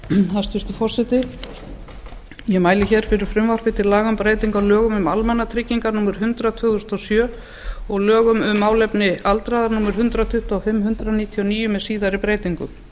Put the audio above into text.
hæstvirtur forseti ég mæli hér fyrir frumvarpi til laga um breytingu á lögum um almannatryggingar númer hundrað tvö þúsund og sjö og lögum um málefni aldraðra númer hundrað tuttugu og fimm nítján hundruð níutíu og níu með síðari breytingum